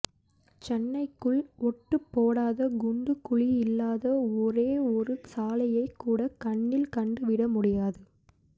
சென்னைக்குள் ஒட்டுப்போடாத குண்டு குழியில்லாத ஒரே ஒரு சாலையைக் கூட கண்ணில் கண்டு விட முடியாது